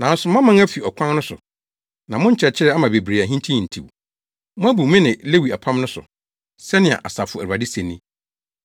Nanso moaman afi ɔkwan no so, na mo nkyerɛkyerɛ ama bebree ahintihintiw; moabu me ne Lewi apam no so.” Sɛnea Asafo Awurade se ni.